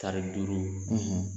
Tari duuru,